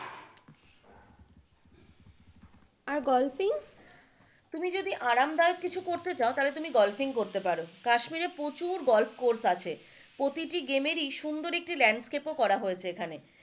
আর golfing? তুমি যদি আরামদায়ক কিছু করতে চাও তাহলে তুমি গলফিং করতে পারো কাশ্মীরে প্রচুর গলফ কোর্স আছে প্রতিটি গেমেরই সুন্দর একটি landscape করা হয়েছে এখানে,